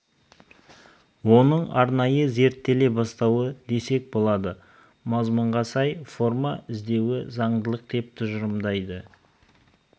оның арнайы зерттеле бастауы десек болады мазмұнға сай форма іздеуі заңдылық деп тұжырымдайды